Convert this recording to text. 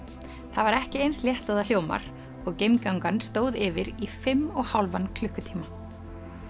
það var ekki eins létt og það hljómar og stóð yfir í fimm og hálfan klukkutíma